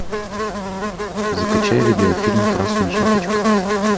закачай видеофильм красная шапочка